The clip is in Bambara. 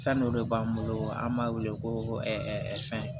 Fɛn dɔ de b'an bolo an b'a wele ko fɛn